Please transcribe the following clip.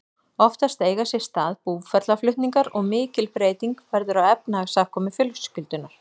Oftast eiga sér stað búferlaflutningar og mikil breyting verður á efnahagsafkomu fjölskyldunnar.